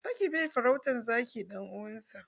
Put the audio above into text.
Zaki bai farautan zaki ɗan uwansa.